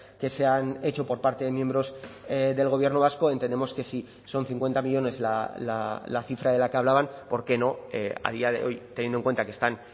que se han hecho por parte de miembros del gobierno vasco entendemos que si son cincuenta millónes la cifra de la que hablaban por qué no a día de hoy teniendo en cuenta que están